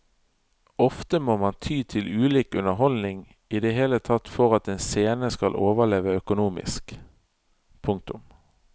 Ofte må man ty til ulik underholdning i det hele tatt for at en scene skal overleve økonomisk. punktum